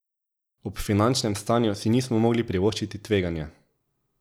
Ob finančnem stanju si nismo mogli privoščiti tveganja.